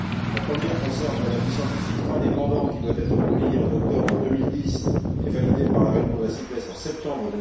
La première concerne l'avis scientifique indépendant qui doit être publié en octobre 2010 et validé par la réunion de la CITES en septembre